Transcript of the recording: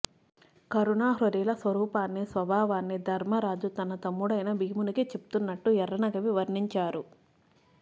కరుణాహృదయుల స్వరూపాన్ని స్వభావాన్నీ ధర్మరాజు తన తమ్ముడైన భీమునికి చెప్తున్నట్టు ఎఱ్ఱన కవి వర్ణించారు